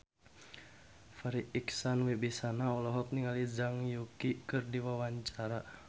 Farri Icksan Wibisana olohok ningali Zhang Yuqi keur diwawancara